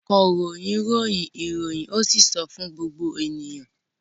Akọ̀ròyìn ròyìn ìròyìn ó sì sọ fún gbogbo ènìyàn.